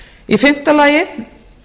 í fimmta lagi